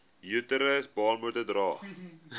uterus baarmoeder dra